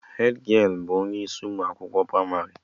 Hedgialụ bụ onye isi ụmụ akwụkwọ pramarị